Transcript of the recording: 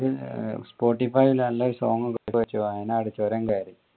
spotify ൽ നല്ലൊരു song ഒക്കെ വെച് ചുരം കേറി